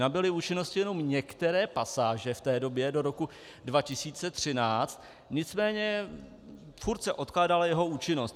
Nabyly účinnosti jenom některé pasáže v té době do roku 2013, nicméně stále se odkládala jeho účinnost.